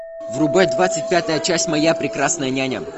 врубай двадцать пятая часть моя прекрасная няня